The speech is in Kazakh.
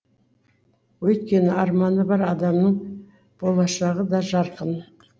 өйткені арманы бар адамның болашағы да жарқын